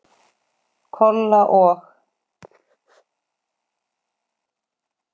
Kolla og